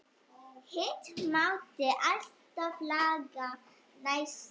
Hitt mátti alltaf laga næst.